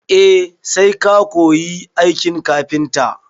E, sai ka koyi aikin kafinta.